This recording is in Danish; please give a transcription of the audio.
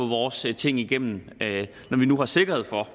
vores ting igennem når vi nu har sikkerhed for